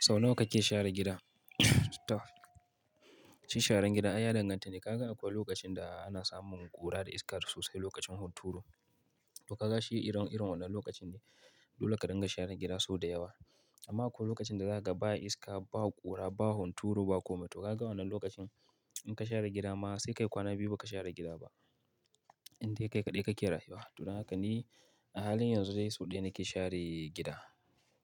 Sau nawa kake share gida? To shi sharan gida, ai ya danganta ne. Ka ga akwai lokacin da ana samun ƙura da iska da sosai lokacin hunturu. To ka ga shi iren, irin wannan lokacin dole ka dinga share gida sau da yawa. Amma akwai lokacin da za ka ga ba iska, ba ƙura, ba hunturu, ba kome. To ka ga wannan lokacin in ka share gida ma sai ka yi kwana biyu ba ka share gida ba. Indai kai kaɗai kake rayuwa. To don haka ni a halin yanzu dai sau ɗaya nake share gida.